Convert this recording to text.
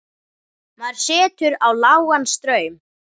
Maður setur á lágan straum.